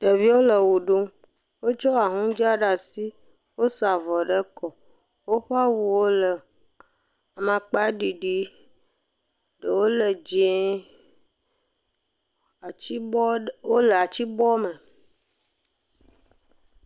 Ɖeviwo le xɔ ɖum. Wotsɔ ahuŋdza ɖe asi. Wosa avɔ ɖe kɔ, woƒe awuwo le amakpaɖiɖi, ɖewo le dzɛ̃e. Atsibɔ, wole atibɔ me.